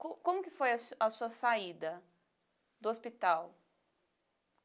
Como como que foi a sua a sua saída do hospital?